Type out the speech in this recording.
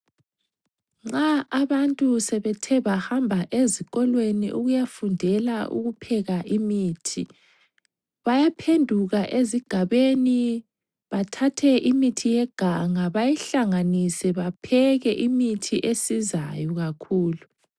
Nxa abantu sebethe bahamba ezikolweni ukuyafundela ukupheka imithi, bayaphenduka ezigabeni bathathe imithi yeganga bayihlanganise bapheke imithi esizayo kakhulu.